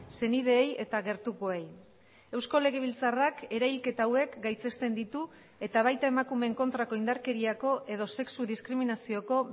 senideei eta gertukoei eusko legebiltzarrak erahilketa hauek gaitzesten ditu eta baita emakumeen kontrako indarkeriako edo sexu diskriminazioko